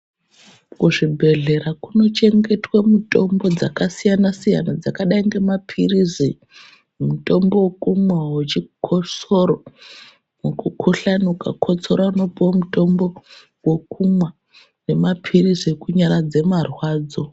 Kuzvibhedhlera kunochengetwe mutombo dzakasiyana siyana dzakadai ngemapirizi mutombo wekumwa wechikosoro wekukuhlaniukakotsora unopuwe mutombo wekumwa nemapirizi ekunyaradze marwadzo.